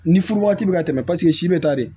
Ni furu waati bɛ ka tɛmɛ paseke si bɛ taa de